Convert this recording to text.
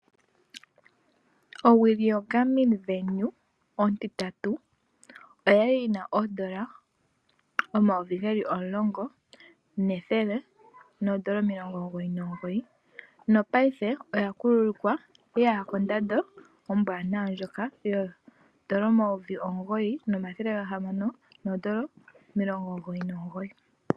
Owili yoGarmin Venu ontintatu oya li yi na ooN$10 199 nopaife oya kuluka ye ya kondando ombwaanawa ndjoka yooN$ 9 699.